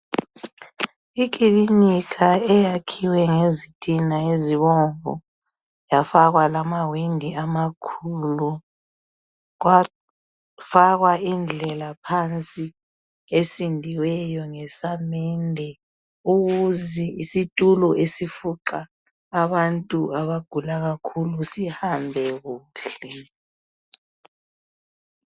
Iklinika eyakhiwe ngezitina ezibomvu yafakwa lamawindi amakhulu kwafakwa indlela phansi esindiweyo ngesamende ukuze isitulo esifuqa abantu abagula kakhulu sihambe kuhle.